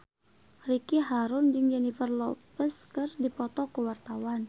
Ricky Harun jeung Jennifer Lopez keur dipoto ku wartawan